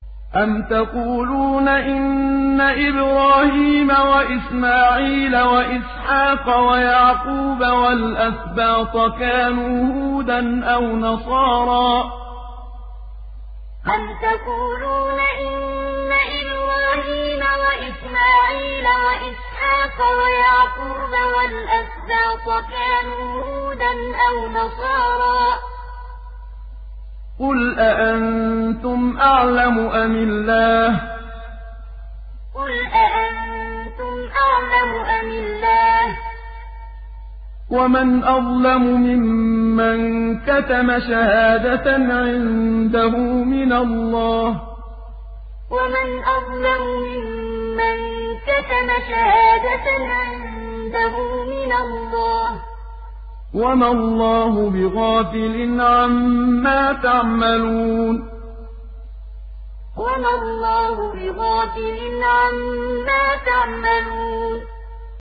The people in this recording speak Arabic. أَمْ تَقُولُونَ إِنَّ إِبْرَاهِيمَ وَإِسْمَاعِيلَ وَإِسْحَاقَ وَيَعْقُوبَ وَالْأَسْبَاطَ كَانُوا هُودًا أَوْ نَصَارَىٰ ۗ قُلْ أَأَنتُمْ أَعْلَمُ أَمِ اللَّهُ ۗ وَمَنْ أَظْلَمُ مِمَّن كَتَمَ شَهَادَةً عِندَهُ مِنَ اللَّهِ ۗ وَمَا اللَّهُ بِغَافِلٍ عَمَّا تَعْمَلُونَ أَمْ تَقُولُونَ إِنَّ إِبْرَاهِيمَ وَإِسْمَاعِيلَ وَإِسْحَاقَ وَيَعْقُوبَ وَالْأَسْبَاطَ كَانُوا هُودًا أَوْ نَصَارَىٰ ۗ قُلْ أَأَنتُمْ أَعْلَمُ أَمِ اللَّهُ ۗ وَمَنْ أَظْلَمُ مِمَّن كَتَمَ شَهَادَةً عِندَهُ مِنَ اللَّهِ ۗ وَمَا اللَّهُ بِغَافِلٍ عَمَّا تَعْمَلُونَ